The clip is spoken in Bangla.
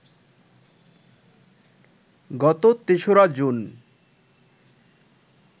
গত ৩রা জুন